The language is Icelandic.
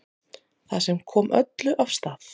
Það sem kom öllu af stað